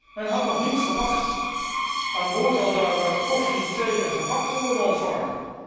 Men had toch niet verwacht aan boord aldaar met koffie, thee en gebak te worden ontvangen?